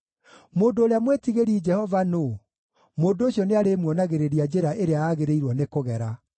Mũndũ ũrĩa mwĩtigĩri Jehova nũũ? Mũndũ ũcio nĩarĩmuonagĩrĩria njĩra ĩrĩa aagĩrĩirwo nĩ kũgera.